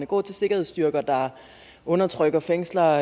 gå til sikkerhedsstyrker der undertrykker fængsler